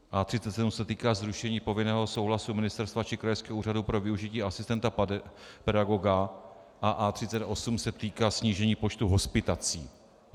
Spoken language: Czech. A37 se týká zrušení povinného souhlasu ministerstva či krajského úřadu pro využití asistenta pedagoga a A38 se týká snížení počtu hospitací.